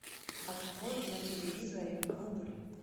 открой на телевизоре рубль